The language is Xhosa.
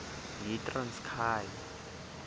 yitranskayi